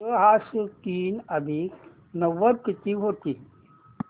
सहाशे तीन अधिक नव्वद किती होतील